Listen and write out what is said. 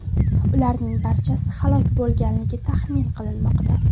Ularning barchasi halok bo‘lganligi taxmin qilinmoqda.